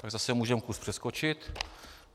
Tak zase můžeme kus přeskočit.